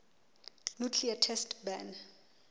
nuclear test ban